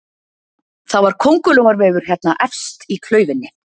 Það var köngurlóarvefur hérna efst í klaufinni